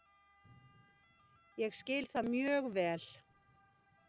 Ég skil það mjög vel